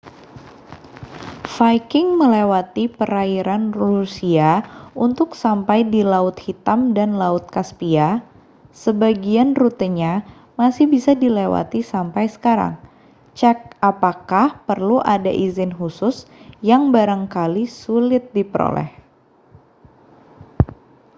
viking melewati perairan rusia untuk sampai di laut hitam dan laut kaspia sebagian rutenya masih bisa dilewati sampai sekarang cek apakah perlu ada izin khusus yang barangkali sulit diperoleh